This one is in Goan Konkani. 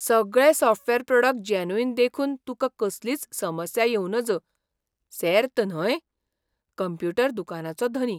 सगळे सॉफ्टवॅर प्रॉडक्ट जॅन्युइन देखून तुका कसलीच समस्या येवं नज, सेर्त न्हय ? कंप्युटर दुकानाचो धनी